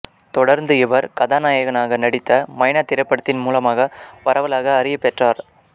தொடர்ந்து இவர் கதாநாயகனாக நடித்த மைனா திரைப்படத்தின் மூலமாக மூலமாக பரவலாக அறியப் பெற்றார்